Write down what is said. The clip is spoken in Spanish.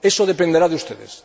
Eso dependerá de ustedes.